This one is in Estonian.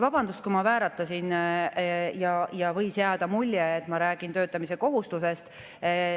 Vabandust, kui ma vääratasin ja võis jääda mulje, et ma räägin töötamise kohustusest.